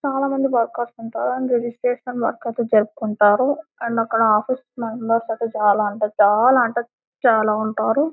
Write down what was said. చాల మంది వర్కర్స్ ఉంట్టరు అండ్ రిజిస్ట్రేషన్ వర్కర్స్ జరుపుకుంటారు. అండ్ అక్కడ ఆఫీస్ లైన్ చాలా అంటే చాలా అంటే చాల ఉంటారు.